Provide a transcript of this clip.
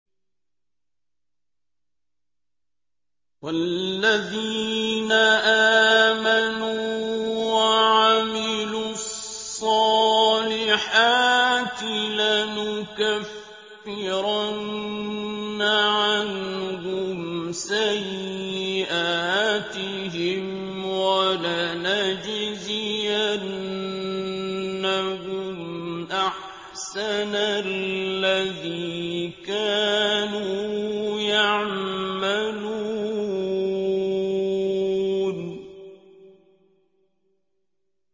وَالَّذِينَ آمَنُوا وَعَمِلُوا الصَّالِحَاتِ لَنُكَفِّرَنَّ عَنْهُمْ سَيِّئَاتِهِمْ وَلَنَجْزِيَنَّهُمْ أَحْسَنَ الَّذِي كَانُوا يَعْمَلُونَ